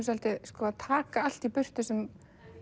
að taka allt í burtu sem